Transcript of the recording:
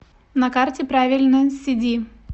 на карте правильно сиди